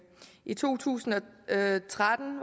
i to tusind og tretten